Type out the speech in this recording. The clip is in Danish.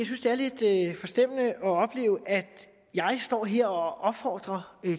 synes det er lidt forstemmende at opleve at jeg står her og opfordrer